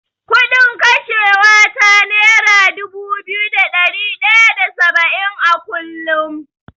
Kuɗin kashewa ta nera dubu biyu da ɗari ɗaya da saba’in a kullum.